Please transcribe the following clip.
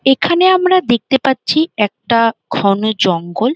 এখানে আমরা দেখতে পাচ্ছি একটা ঘন জঙ্গল।